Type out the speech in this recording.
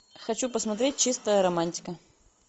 хочу посмотреть чистая романтика